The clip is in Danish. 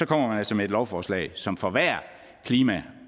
kommer man altså med et lovforslag som forværrer klima